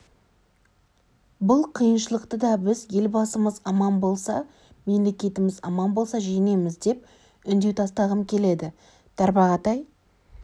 бұл қиыншылықты да біз елбасымыз аман болса мемлекетіміз аман болса жеңеміз деп үндеу тастағым келеді тарбағатай